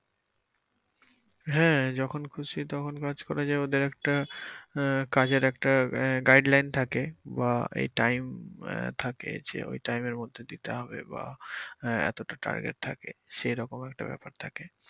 হ্যা যখন খুশি তখন কাজ করা যায় ওদের একটা আহ কাজের একটা আহ guideline থাকে বা এই time আহ থাকে যে ওই time এর মধ্যে দিতে হবে বা আহ এতোটা target থাকে সেইরকম একটা ব্যাপার থাকে।